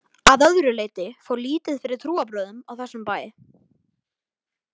Að öðru leyti fór lítið fyrir trúarbrögðum á þessum bæ.